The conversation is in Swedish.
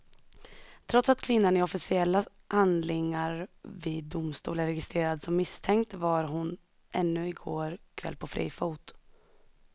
Trots att kvinnan i officiella handlingar vid domstol är registrerad som misstänkt var hon ännu i går kväll på fri fot.